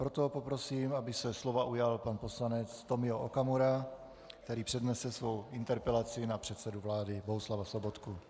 Proto poprosím, aby se slova ujal pan poslanec Tomio Okamura, který přednese svou interpelaci na předsedu vlády Bohuslava Sobotku.